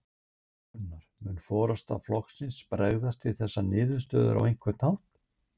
Gunnar: Mun forysta flokksins bregðast við þessari niðurstöðu á einhvern hátt?